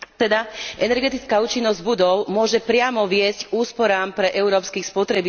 Energetická účinnosť budov môže priamo viesť k úsporám pre európskych spotrebiteľov.